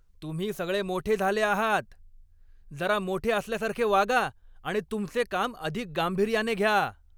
तुम्ही सगळे मोठे झाले आहात! जरा मोठे असल्यासारखे वागा आणि तुमचे काम अधिक गांभीर्याने घ्या.